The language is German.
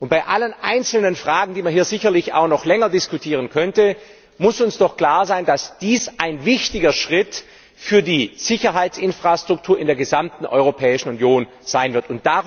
Bei allen einzelnen Fragen, die man hier sicherlich auch noch länger diskutieren könnte, muss uns doch klar sein, dass dies ein wichtiger Schritt für die Sicherheitsinfrastruktur in der gesamten Europäischen Union sein wird.